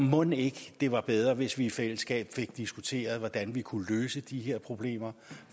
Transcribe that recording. mon ikke det var bedre hvis vi i fællesskab fik diskuteret hvordan vi kunne løse de her problemer